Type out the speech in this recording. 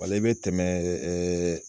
i bɛ tɛmɛ ɛɛ